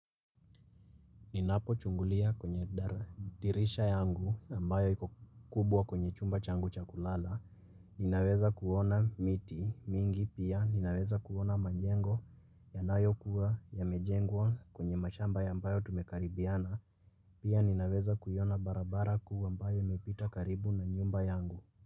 Ninapochungulia kwenye dirisha yangu ambayo iko kubwa kwenye chumba changu cha kulala. Ninaweza kuona miti mingi pia. Ninaweza kuona majengo yanayokuwa yamejengwa kwenye mashamba ambayo tumekaribiana. Pia ninaweza kuiona barabara kuu ambayo imepita karibu na nyumba yangu.